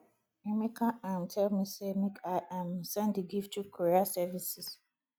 emeka um tell me say make i um send the gift through courier services